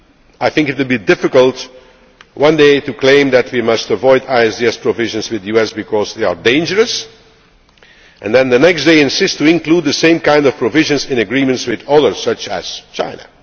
to keep in mind. I think it would be difficult one day to claim that we must avoid ISDS provisions with the US because they are dangerous and then the next day insist on including the same kind of provisions in agreements with others,